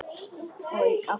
Og aftur og aftur.